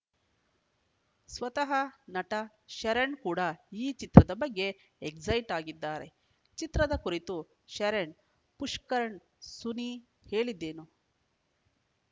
ಸ್ವತಃ ನಟ ಶರಣ್‌ ಕೂಡ ಈ ಚಿತ್ರದ ಬಗ್ಗೆ ಎಕ್ಸೈಟ್‌ ಆಗಿದ್ದಾರೆ ಚಿತ್ರದ ಕುರಿತು ಶರಣ್‌ ಪುಷ್ಕರ್‌ ಸುನಿ ಹೇಳಿದ್ದೇನು